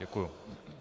Děkuji.